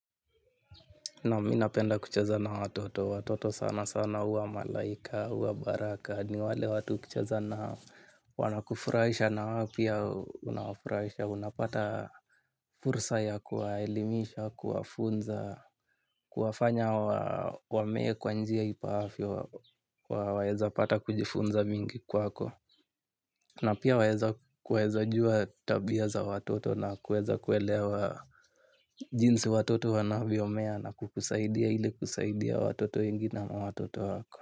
Naam mi napenda kucheza na watoto, watoto sana sana huwa malaika, huwa baraka, ni wale watu ukicheza nao wanakufurahisha na wao pia unawafurahisha. Unapata fursa ya kuwaelimisha, kuwafunza, kuwafanya wamee kwa njia ifaavyo waweza pata kujifunza mingi kwako. Na pia waweza kueza jua tabia za watoto na kueza kuelewa jinsi watoto wanavyomea na kukusaidia ili kusaidia watoto wengi na watoto wako.